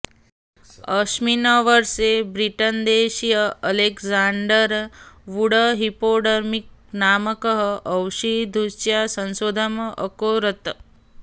अस्मिन् वर्षे ब्रिट्न्देशीयः अलेक्साण्डर् वुड् हैपोडर्मिक् नामकः औषधसूच्याः संशोधनम् अकरोत्